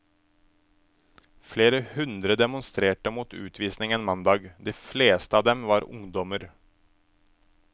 Flere hundre demonstrerte mot utvisningen mandag, de fleste av dem var ungdommer.